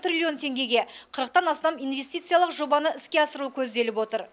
триллион теңгеге қырықтан астам инвестициялық жобаны іске асыру көзделіп отыр